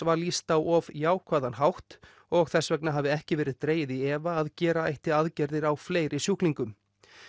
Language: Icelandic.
var lýst á of jákvæðan hátt og þess vegna hafi ekki verið dregið í efa að gera ætti aðgerðir á fleiri sjúklingum